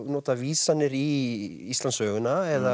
nota vísanir í Íslandssöguna eða